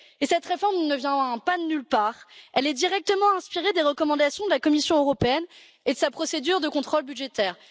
Cette réforme ne vient pas de nulle part, elle est directement inspirée des recommandations de la Commission européenne et de sa procédure de contrôle budgétaire.